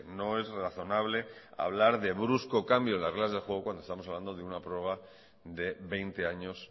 no es razonable hablar de brusco cambio en las reglas de juego cuando estamos hablando de una prorroga de veinte años